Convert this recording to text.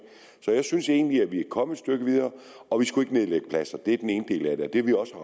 synes egentlig vi er kommet et stykke videre og vi skulle ikke nedlægge pladser det er den ene del af det det ville også